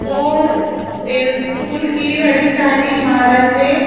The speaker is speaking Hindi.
और स्कूल की बड़ी सारी इमारतें--